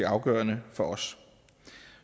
afgørende for os